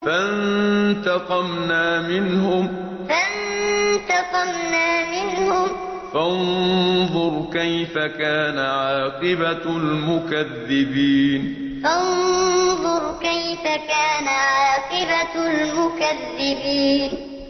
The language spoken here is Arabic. فَانتَقَمْنَا مِنْهُمْ ۖ فَانظُرْ كَيْفَ كَانَ عَاقِبَةُ الْمُكَذِّبِينَ فَانتَقَمْنَا مِنْهُمْ ۖ فَانظُرْ كَيْفَ كَانَ عَاقِبَةُ الْمُكَذِّبِينَ